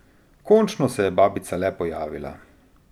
Končno se je babica le pojavila.